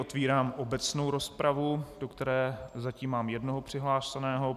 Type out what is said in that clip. Otevírám obecnou rozpravu, do které zatím mám jednoho přihlášeného.